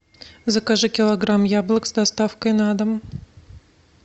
закажи килограмм яблок с доставкой на дом